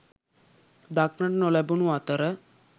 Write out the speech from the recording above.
දක්නට නොලැබුණු අතර